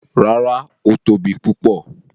Rárá, ó tóbi púpọ̀.